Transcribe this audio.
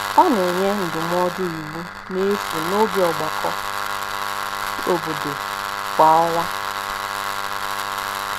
Ọ na-enye ndụmọdụ iwu n’efu n’oge ọgbakọ obodo kwa ọnwa.